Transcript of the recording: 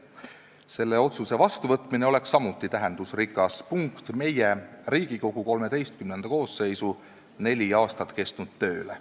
Selle otsuse vastuvõtmine oleks samuti tähendusrikas punkt Riigikogu XIII koosseisu neli aastat kestnud tööle.